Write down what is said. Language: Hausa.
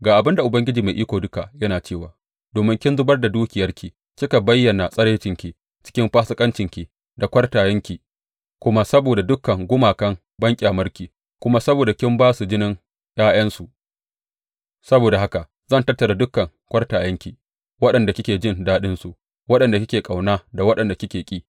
Ga abin da Ubangiji Mai Iko Duka yana cewa domin kin zubar da dukiyarki kika bayyana tsiraicinki cikin fasikancinki da kwartayenki, kuma saboda dukan gumakan banƙyamarki, kuma saboda kin ba su jinin ’ya’yansu, saboda haka zan tattara dukan kwartayenki, waɗanda kike jin daɗinsu, waɗanda kike ƙauna da waɗanda kike ƙi.